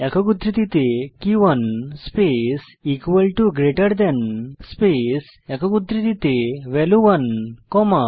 একক উদ্ধৃতিতে কে 1 space equal to greater than space একক উদ্ধৃতিতে ভ্যালিউ 1 কমা